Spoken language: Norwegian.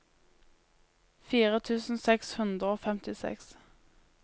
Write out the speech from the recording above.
fire tusen seks hundre og femtiseks